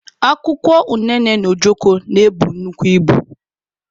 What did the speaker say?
Akwụkwọ unene na ojoko na-ebu nnukwu ibu.